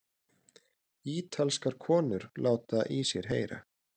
Ítalskar konur láta í sér heyra